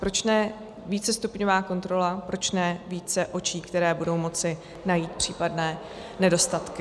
Proč ne vícestupňová kontrola, proč ne více očí, které budou moci najít případné nedostatky?